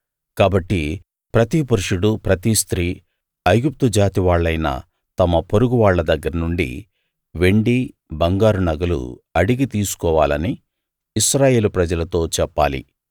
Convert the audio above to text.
కాబట్టి ప్రతి పురుషుడు ప్రతి స్త్రీ ఐగుప్తు జాతి వాళ్ళైన తమ పొరుగువాళ్ళ దగ్గర నుండి వెండి బంగారు నగలు అడిగి తీసుకోవాలని ఇశ్రాయేలు ప్రజలతో చెప్పాలి